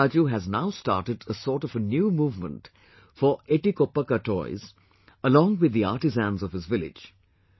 C V Raju has now started a sort of a new movement for etikoppakaa toys along with the artisans of his village